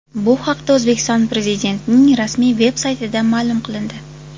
Bu haqda O‘zbekiston Prezidentining rasmiy veb-saytida ma’lum qilindi .